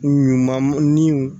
Ɲuman niw